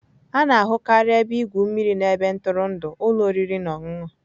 A na-ahụkarị ebe igwu mmiri na ebe ntụrụndụ ụlọ oriri na ọṅụṅụ.